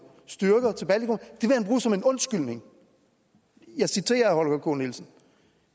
styrker til baltikum som en undskyldning jeg citerer herre holger k nielsen og